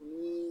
Ni